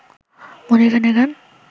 মনির খান এর গান